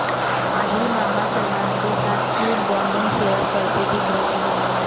आहिल मामा सलमान के साथ क्यूट बॉन्डिंग शेयर करते दिख रहे हैं